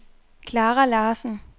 Clara Larsen